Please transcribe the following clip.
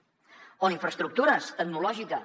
o en infraestructures tecnològiques